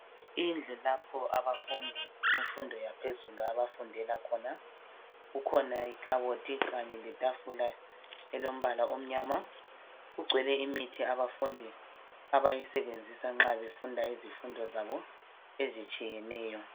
Indlu lapho abafundi bemfundo yaphezulu abafundela khona, kukhona ikhabothi kanye letafula elompala omnyama. Kugcwele imithi abafundi abayisebenzisa nxa befunda izifundo zabo ezitshiyeneyo.